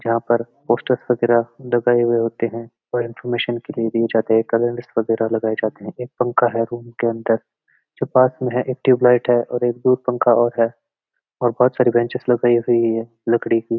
यहां पर पोस्टर वगैरा भी लगाए हुए हैं और इनफॉरमेशन के लिए दिए जाते हैं कैलेंडर वगैरा लगाए जाते हैं एक पंखा है रूम के अंदऱ जो पास में है एक ट्यूबलाइट है और एक दूर पंखा और है और बहुत सारी बेंचेस लगाई हुई है लकड़ी की --